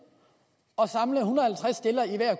og samle en hundrede